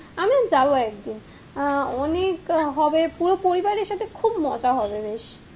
ওখানেও যাবো একদিন, আহ অনেক হবে, পুরো পরিবারের সাথে খুব মজা হবে বেশ,